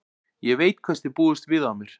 Ég veit hvers þið búist við af mér.